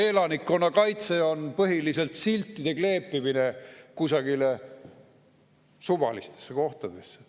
Aga elanikkonnakaitse on põhiliselt siltide kleepimine kusagile suvalistesse kohtadesse.